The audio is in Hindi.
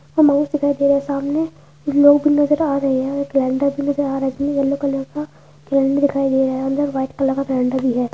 माउस दिखाई दे रहा है सामने कुछ लोग नजर आ रहे हैं भी नज़र आ रहा है इसमें येलो कलर का का दिखाई दे रहा हैअंदर वाइट कलर का भी है।